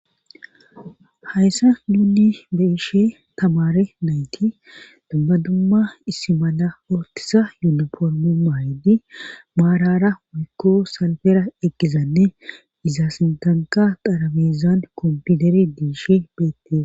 hayssa nuuni be ishe tamare nayti dumma dumma issi mala ootisa yuniformu maahidi maarara muykko salbera eqqizanne iza sintanka qarabezan kompiideri diishe beettis